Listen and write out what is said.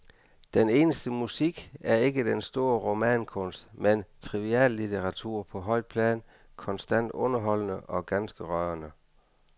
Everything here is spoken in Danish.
Den eneste musik er ikke den store romankunst, men triviallitteratur på højt plan, konstant underholdende og ganske rørende.